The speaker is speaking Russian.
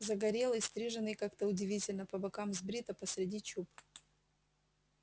загорелый стриженный как-то удивительно по бокам сбрито посреди чуб